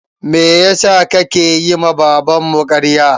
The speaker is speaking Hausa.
Meyasa ka yi ma baban mu ƙarya?